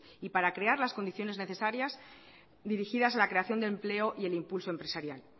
y para crear las condiciones necesarias dirigidas a la creación de empleo y el impulso empresarial